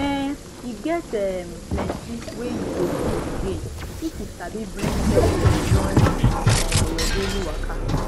um e get um plenty wey you go fit gain if you sabi bring selfcare join um your daily waka